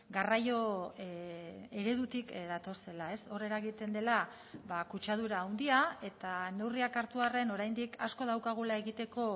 garraio eredutik datozela ez hor eragiten dela kutsadura handia eta neurriak hartu arren oraindik asko daukagula egiteko